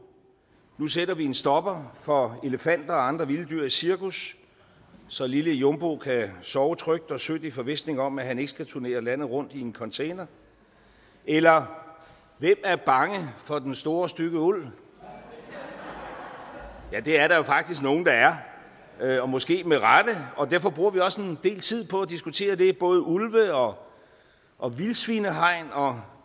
nu sætter vi en stopper for elefanter og andre vilde dyr i cirkus så lille jumbo kan sove trygt og sødt i forvisning om at han ikke skal turnere landet rundt i en container eller hvem er bange for den store stygge ulv ja det er der jo faktisk nogen der er og måske med rette og derfor bruger vi også en del tid på at diskutere det både ulve og og vildsvinehegn og